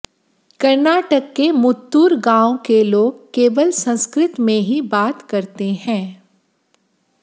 कर्नाटक के मुत्तुर गांव के लोग केवल संस्कृत में ही बात करते है